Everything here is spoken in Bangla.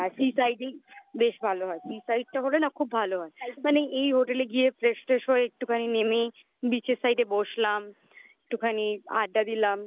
হ্যাঁ sea side এই বেশি ভালো হয় sea side টা হলে না খুব ভালো হয় মানে এই Hotel এ গিয়ে fresh ট্রেস হয়ে একটুখানি নেমে beach এর side এ বসলাম. একটুখানি আড্ডা